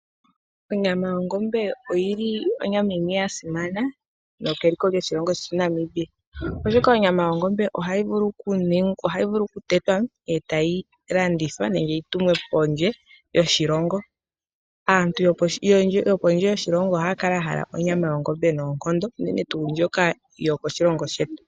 Onyama yongombe oyili onyama yimwe yasimana nokeliko lyoshilongo shetu Namibia , oshoka ohayi vulu okutetwa etayi landithwa nenge yitumwe pondje yoshilongo. Aantu yokondje yoshilongo ohaya kala yahala onyama yoongombe noonkondo ngaashi yomoshilongo shetu.